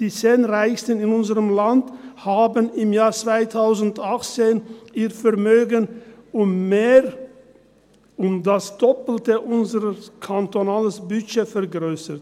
Die 10 Reichsten in unserem Land haben im Jahr 2018 ihr Vermögen um mehr als das Doppelte unseres kantonalen Budgets vergrössert.